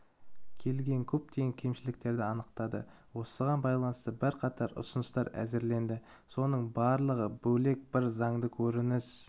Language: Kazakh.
келген көптеген кемшіліктерді анықтады осыған байланысты бірқатар ұсыныстар әзірленді соның барлығы бөлек бір заңда көрініс